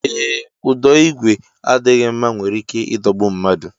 Ee, ụdọ igwe adịghị mma nwere ike idogbu mmadụ